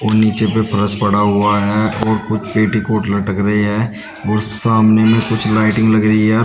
नीचे पे फरस पड़ा हुआ है और कुछ पेटिकोट लटक रही है और सामने में कुछ लाइटिंग लग रही है।